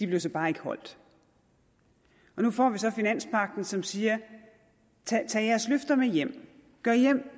blev så bare ikke holdt og nu får vi så finanspagten som siger tag jeres løfter med hjem